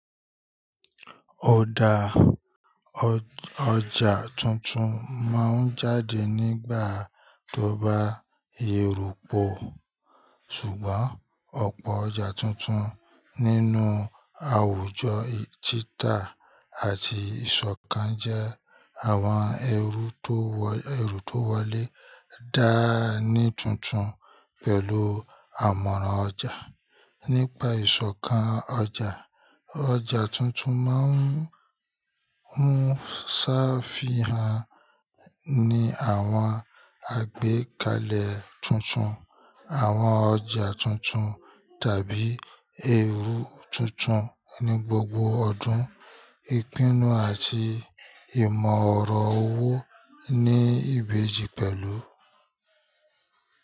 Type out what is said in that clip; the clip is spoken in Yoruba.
Ọ̀dà ọjà tuntun máa ń jáde nígbà tó bá yèrò pọ̀, ṣùgbọ́n ọ̀pọ̀ ọjà tuntun nínú àwùjọ títa àti ìṣọ̀kan jẹ́ àwọn ẹrú tó wọlé dá ní tuntun pẹ̀lú àmọ̀ràn ọjà. Nípa ìṣọ̀kan ọjà, ọjà tuntun máa ń ṣàfihàn ní àwọn àgbékalẹ̀ tuntun, àwọn ọjà tuntun tàbí ẹrú tuntun ní gbogbo ọdún. Ìpinnu àti ìmọ̀ ọ̀rọ̀ owó ní ìbejì pẹ̀lú.